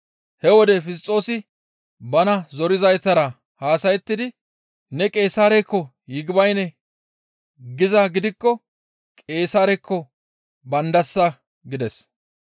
He wode Fisxoosi bana zorizaytara haasayettidi, «Ne Qeesaarekko, ‹Yigibayne› gizaa gidikko Qeesaarekko baandasa» gides.